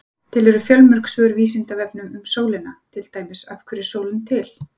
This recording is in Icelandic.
Til eru fjölmörg svör á Vísindavefnum um sólina, til dæmis: Af hverju er sólin til?